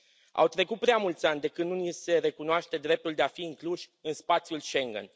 Au trecut prea mulți ani de când nu ni se recunoaște dreptul de a fi incluși în spațiul Schengen.